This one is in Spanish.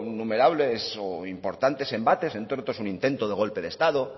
innumerables o importantes embates entre otros un intento de golpe de estado